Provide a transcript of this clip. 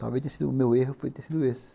Talvez o meu erro tenha sido esse.